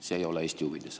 See ei ole Eesti huvides.